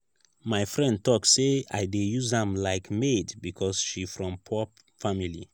my friend tok sey i dey use am like maid because she from poor family.